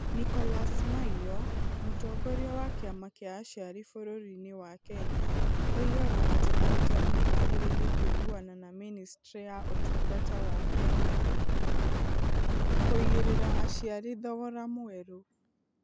Nicholas Maiyo, mũtongoria wa kĩama kĩa aciari bũrũri-inĩ wa Kenya, oigaga atĩ arutani nĩ magĩrĩire kũiguana na Ministry ya Ũtungata wa Kenya kũigĩrĩra aciari thogora mwerũ.